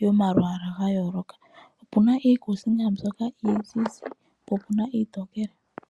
yomalwaala ga yooloka. Opu na iikuusinga mbyoka iizizi po opu na iitookele.